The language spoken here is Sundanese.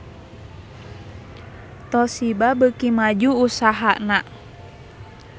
Toshiba beuki maju usahana